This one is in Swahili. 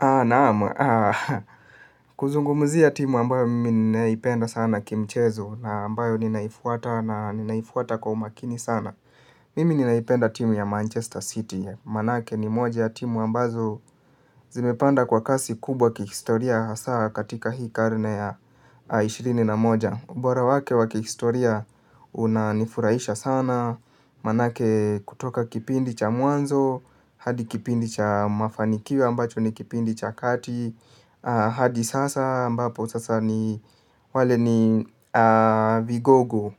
Naam, kuzungumzia timu ambayo mimi ninaipenda sana kimchezo na ambayo ninaifuata na ninaifuata kwa umakini sana. Mimi ninaipenda timu ya Manchester City, maanake ni moja ya timu ambazo zimepanda kwa kasi kubwa kihistoria hasa katika hii karne ya ishirini na moja. Ubora wake wa kihistoria unanifurahisha sana maanake kutoka kipindi cha mwanzo hadi kipindi cha mafanikio ambacho ni kipindi cha kati. Hadi sasa ambapo sasa ni wale ni vigogo.